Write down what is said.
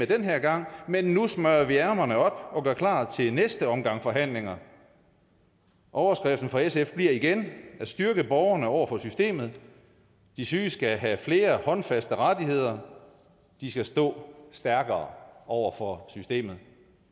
den her gang men nu smøger vi ærmerne op og gør klar til næste omgang forhandlinger overskriften for sf bliver igen at styrke borgerne over for systemet de syge skal have flere håndfaste rettigheder og de skal stå stærkere over for systemet